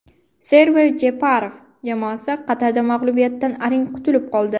Server Jeparov jamoasi Qatarda mag‘lubiyatdan arang qutulib qoldi.